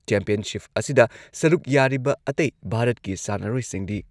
championship ꯑꯁꯤꯗ ꯁꯔꯨꯛ ꯌꯥꯔꯤꯕ ꯑꯇꯩ ꯚꯥꯔꯠꯀꯤ ꯁꯥꯟꯅꯔꯣꯏꯁꯤꯡꯗꯤ